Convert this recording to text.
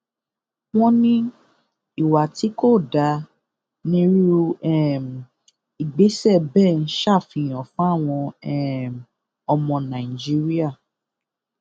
wọn ní ìwà tí kò dáa nirú um ìgbésẹ bẹẹ ń ṣàfihàn fáwọn um ọmọ nàìjíríà